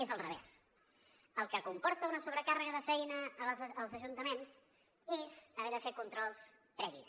és a l’inrevés el que comporta una sobrecàrrega de feina als ajuntaments és haver de fer controls previs